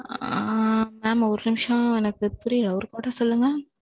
ஆ. mam ஒரு நிமிசம் எனக்கு புரியல. ஒரு முறை சொல்லுங்க?